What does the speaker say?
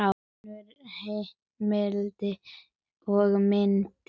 Önnur heimild og mynd